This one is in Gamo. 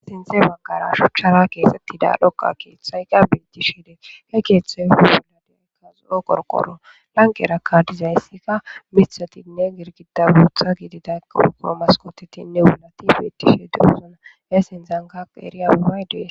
sinte bangara shuchara keexettida dhoqa keeththayka biitishe dee he keeththay huhuladeykkaz7o qorqoro lanqerakka dizayssikka mithatinne girgida buotha gididaurguro maskotetinne wulati biitdishe deuzona esin zangaq eeriya buray dee